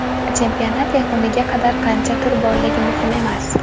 Chempionat yakuniga qadar qancha tur borligi muhim emas.